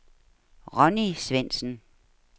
Ronni Svendsen